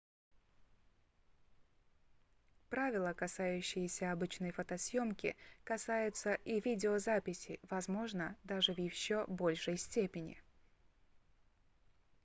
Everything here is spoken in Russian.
правила касающиеся обычной фотосъёмки касаются и видеозаписи возможно даже в ещё большей степени